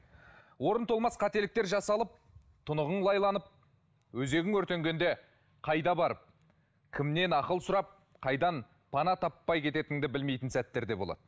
орны толмас қателіктер жасалып тұнығың лайланып өзегің өртенгенде қайда барып кімнен ақыл сұрап қайдан пана таппай кететініңді білмейтін сәттер болады